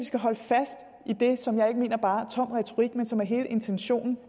skal holde fast i det som jeg ikke mener bare er tom retorik men som er hele intentionen